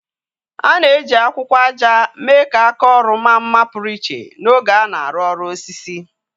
A na-eji akwụkwọ ájá mee ka áká ọrụ maa mma pụrụ iche n'oge a na-arụ ọrụ osisi.